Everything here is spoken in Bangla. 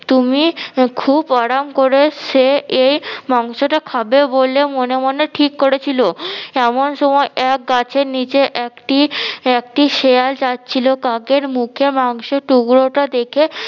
তুমি খুব আরাম করে সে এই মাংস টা খাবে বলে মনে মনে ঠিক করেছিল এমন সময় এক গাছের নিচে একটি একটি শেয়াল যাচ্ছিলো কাকের মুখে মাংসের টুকরোটা দেখে